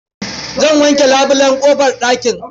Zan wanke labulen ƙofar ɗakin.